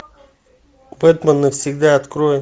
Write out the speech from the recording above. бэтмен навсегда открой